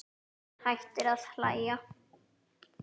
Hún hættir að hlæja.